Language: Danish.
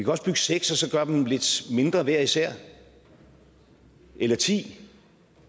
også bygge seks og så gøre dem lidt mindre hver især eller ti